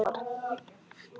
Og það var lítið barn.